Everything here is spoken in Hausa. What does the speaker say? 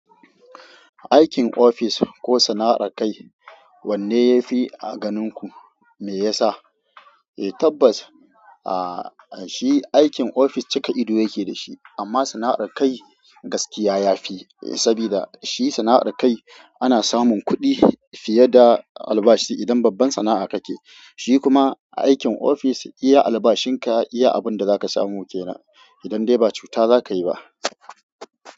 Aikin ofis ko sana'ar kai, wanne yafi a ganin ku? Me yasa? Eh tabbas, shi aikin ofis cika ido yake da shi amma sana'ar kai gaskiya ya fi, eh saboda shi sana'ar kai ana samun kuɗi fiye da albashi idan babban sana'a ka ke. Shi kuma aikin ofis iya albashin ka iya abun da za ka samu kenan idan dai ba cuta za ka yi ba.